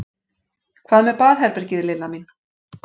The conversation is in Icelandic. Hvað með baðherbergið, Lilla mín?